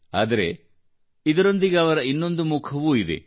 ಆದರೆ ಇದರೊಂದಿಗೆ ಅವರ ಇನ್ನೊಂದು ಮುಖವೂ ಇದೆ